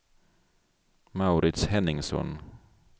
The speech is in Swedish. Mauritz Henningsson